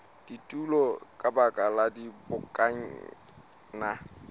kutung ka baka la dibokonyana